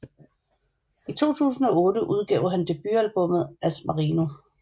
I 2008 udgav han debutalbummet Asmarino